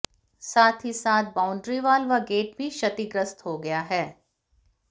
साथ ही साथ बाउंड्रीवॉल व गेट भी क्षतिग्रस्त हो गया है